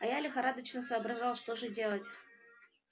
а я лихорадочно соображал что же делать